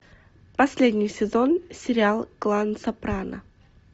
последний сезон сериал клан сопрано